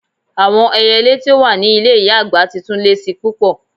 Awọn èyèlè ti o wà ni ilẹ̀ iya-agba ti tun le ṣi pupọ̀.